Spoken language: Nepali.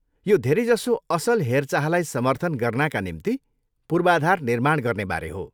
यो धेरैजसो असल हेरचाहलाई समर्थन गर्नाका निम्ति पूर्वाधार निर्माण गर्नेबारे हो।